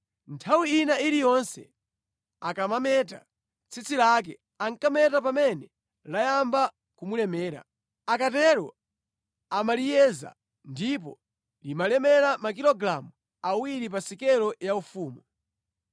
Nthawi ina iliyonse akamameta tsitsi lake, ankameta pamene layamba kumulemera. Akatero amaliyeza, ndipo limalemera makilogalamu awiri pa sikelo yaufumu.